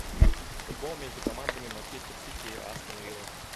футбол между командами манчестер сити и астон вилла